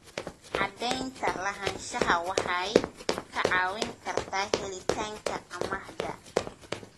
Cadaynta lahaanshaha waxay kaa caawin kartaa helitaanka amaahda.